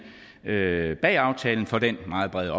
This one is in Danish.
bag aftalen for den meget brede